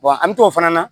Wa an mi t'o fana na